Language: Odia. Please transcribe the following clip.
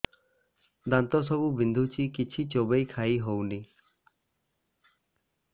ଦାନ୍ତ ସବୁ ବିନ୍ଧୁଛି କିଛି ଚୋବେଇ ଖାଇ ହଉନି